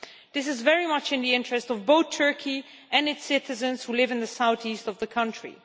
This is very much in the interest of both Turkey and its citizens who live in the south east of the country.